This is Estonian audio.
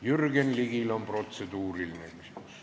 Jürgen Ligil on protseduuriline küsimus.